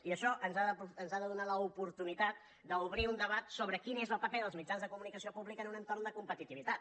i això ens ha de donar l’oportunitat d’obrir un debat sobre quin és el paper dels mitjans de comunicació públics en un entorn de competitivitat